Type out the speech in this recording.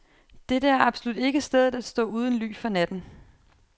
Dette er absolut ikke stedet at stå uden ly for natten.